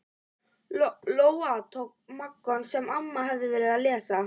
Lóa-Lóa tók Moggann sem amma hafði verið að lesa.